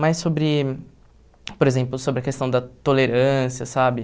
Mais sobre, por exemplo, sobre a questão da tolerância, sabe?